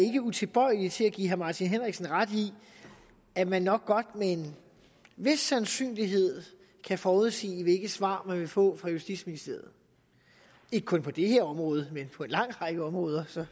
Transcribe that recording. er utilbøjelig til at give herre martin henriksen ret i at man nok med en vis sandsynlighed kan forudsige hvilket svar man vil få fra justitsministeriet ikke kun på det her område men på en lang række områder